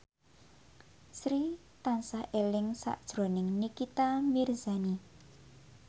Sri tansah eling sakjroning Nikita Mirzani